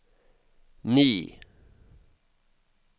ni